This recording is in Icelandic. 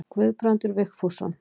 Guðbrandur Vigfússon.